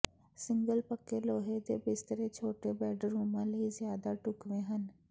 single ਪੱਕੇ ਲੋਹੇ ਦੇ ਬਿਸਤਰੇ ਛੋਟੇ ਬੈਡਰੂਮਾਂ ਲਈ ਜ਼ਿਆਦਾ ਢੁਕਵੇਂ ਹਨ